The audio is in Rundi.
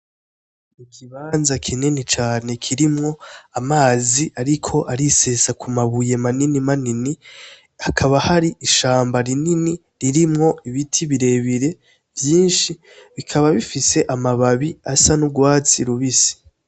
Ikibanza kinini cane kirimwo amazi ariko arisesa ku mabuye manini manini, hakaba hari ishamba rinini ririmwo ibiti birebire vyinshi, bikaba bifise amababi asa n'urwatsi rubisi.